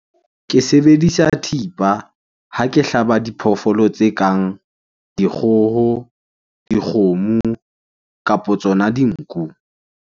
Ke sebedisa thipa ha ke hlaba diphoofolo tse kang dikgoho, dikgomo kapo tsona dinku.